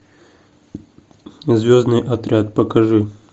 звездный отряд покажи